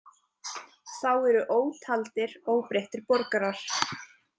Þá eru ótaldir óbreyttir borgarar.